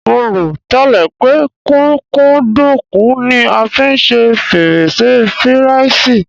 Mo rò tẹ́lẹ̀ pé kúkúǹdùkú ni a fi ṣe fírẹ́nṣí firàìsì